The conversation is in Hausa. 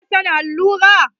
Ki na son allura?